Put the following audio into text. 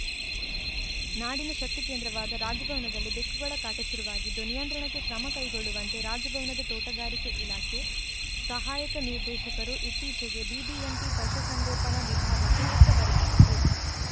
ನಾಡಿನ ಶಕ್ತಿಕೇಂದ್ರವಾದ ರಾಜಭವನದಲ್ಲಿ ಬೆಕ್ಕುಗಳ ಕಾಟ ಶುರುವಾಗಿದ್ದು ನಿಯಂತ್ರಣಕ್ಕೆ ಕ್ರಮ ಕೈಗೊಳ್ಳುವಂತೆ ರಾಜಭವನದ ತೋಟಗಾರಿಕೆ ಇಲಾಖೆ ಸಹಾಯಕ ನಿರ್ದೇಶಕರು ಇತ್ತೀಚೆಗೆ ಬಿಬಿಎಂಪಿ ಪಶುಸಂಗೋಪನಾ ವಿಭಾಗಕ್ಕೆ ಪತ್ರ ಬರೆದಿದ್ದಾರೆ